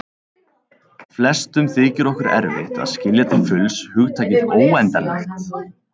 Flestum þykir okkur erfitt að skilja til fulls hugtakið óendanlegt.